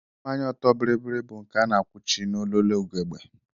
Mmanya ọtọ bịrịbịrị bụ nke a na-akwụchi n'ololo ugegbe